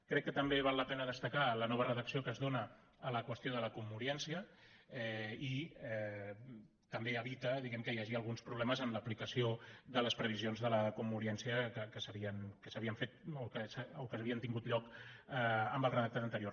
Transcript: crec que també val la pena destacar la nova redacció que es dóna a la qüestió de la commoriència que també evita que hi hagi alguns problemes en l’aplicació de les previsions de la commoriència que havien tingut lloc amb el redactat anterior